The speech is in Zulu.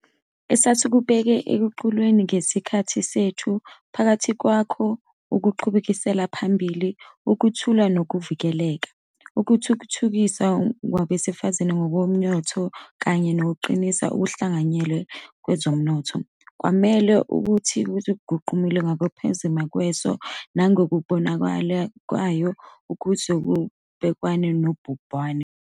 Esasikubeke eqhulwini ngesikhathi sethu, phakathi kwakho ukuqhubekisela phambili ukuthula nokuvikeleka, ukuthuthukiswa kwabesifazane ngokomnotho kanye nokuqinisa ukuhlanganyela kwezomnotho, kwamele ukuthi kuguqulwe ngokuphazima kweso nangokubonakalayo ukuze kubhekanwe nobhubhane.